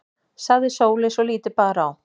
sagði Sóley svo lítið bar á.